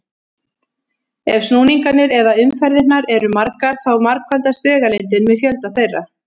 Ef snúningarnir eða umferðirnar eru margar þá margfaldast vegalengdin með fjölda þeirra.